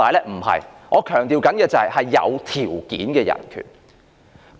我所強調的是有條件的人權。